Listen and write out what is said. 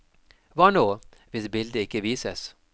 Hva nå, hvis bildet ikke vises.